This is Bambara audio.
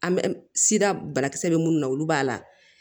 An bɛ sida banakisɛ bɛ minnu na olu b'a la